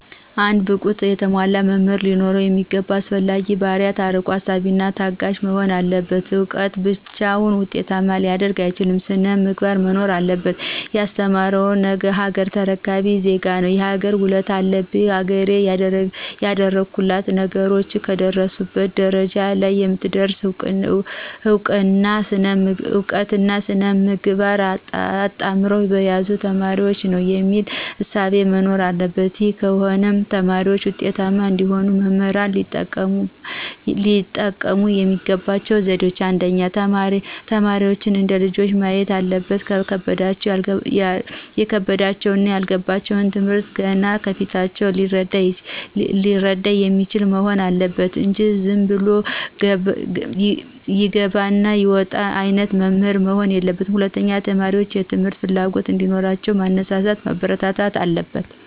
አንድ ብቁና የተሟላ መምህር ሊኖሩት የሚገባው አስፈላጊ ባህርያት አርቆ አሳቢና ታጋሽ መሆን አለበት እውቀት ብቻውን ዉጤታማ ሊያደርግ አይችልም ሥነ-ምግባርም መኖር አለበት። የማስተምረው ነገሀገር ተረካቢ ዜጋ ነው የሀገር ውለታ አለብኝ ሀገሬ ያደጉት ሀገሮች ከደረሱበት ደረጃ ለይ የምትደርሰው እውቀትና ሥነ-ምግባር አጣምረው በያዙ ተማሪዎች ነው። የሚል እሳቤ መኖር አለበት ይህ ከሆነ ተማሪዎች ውጤታማ እንዲሆኑ መምህራን ሊጠቀሙ የሚገባቸው ዘዴዎች :1. ተማሪዎችን እንደ ልጆቹ ማየት አለበት የከበዳቸውንና ያልገባቸውን ትምህርት ገና ከፊታቸው ሊረዳ የሚችል መሆን አለበት እንጂ ዝንብሎ የግብር ይውጣ አይነት መምህር መሆን የለበትም። 2. ተማሪዎችን የትምህርት ፍላጎት እዲኖራቸው ማነሳሳት ማበረታታት አለበት።